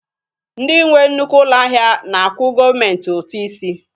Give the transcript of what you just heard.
Ndị nwe nnukwu ụlọ ahịa na-akwụ gọọmentị ụtụ isi